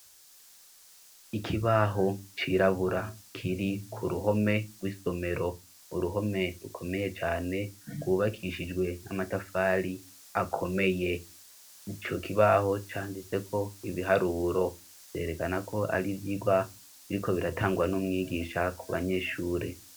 Ikibaho cirabura kiri ku ruhome rw'isomero. Uruhome rukomeye cane rwubakishijwe n'amatafari akomeye. Ico kibaho canditseko ibiharuro vyerekana ko ari ivyirwa biriko biratangwa n'umwigisha ku banyeshure.